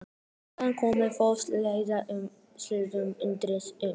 Strákarnir komu fast á hæla henni og lituðust undrandi um.